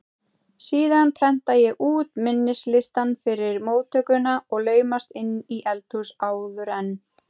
Síðan prenta ég út minnislistann fyrir móttökuna og laumast inn í eldhús áður en